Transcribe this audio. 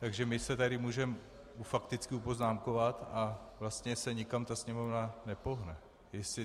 Takže my se tady můžeme fakticky upoznámkovat a vlastně se nikam ta Sněmovna nepohne.